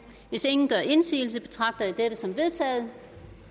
hvis ingen gør indsigelse betragter jeg dette som vedtaget